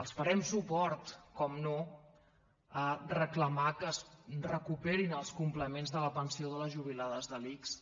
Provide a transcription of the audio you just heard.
els farem suport és clar a reclamar que es recuperin els complements de la pensió de les jubilades de l’ics